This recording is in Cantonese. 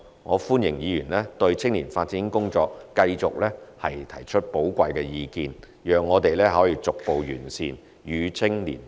我歡迎議員對青年發展工作繼續提出寶貴意見，讓我們逐步完善，與青年同行，共創未來。